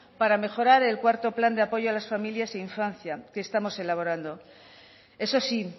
para mejorar el cuarto plan de apoyo a la familia e infancia que estamos elaborando eso sí